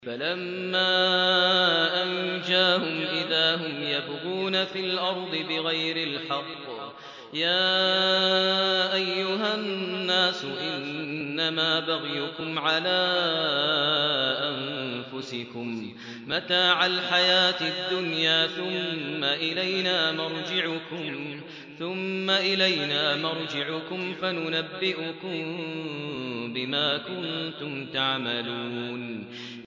فَلَمَّا أَنجَاهُمْ إِذَا هُمْ يَبْغُونَ فِي الْأَرْضِ بِغَيْرِ الْحَقِّ ۗ يَا أَيُّهَا النَّاسُ إِنَّمَا بَغْيُكُمْ عَلَىٰ أَنفُسِكُم ۖ مَّتَاعَ الْحَيَاةِ الدُّنْيَا ۖ ثُمَّ إِلَيْنَا مَرْجِعُكُمْ فَنُنَبِّئُكُم بِمَا كُنتُمْ تَعْمَلُونَ